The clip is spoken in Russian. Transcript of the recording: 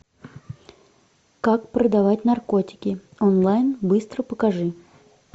как продавать наркотики онлайн быстро покажи